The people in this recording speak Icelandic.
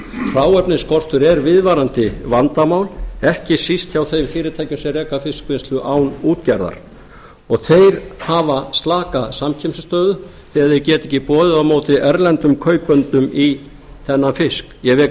hráefnisskortur er viðvarandi vandamál ekki síst hjá fyrirtækjum sem reka fiskvinnslu án útgerðar og þeir hafa slaka samkeppnisstöðu þegar þeir geta ekki boðið á móti erlendum kaupendum í þennan fisk ég vek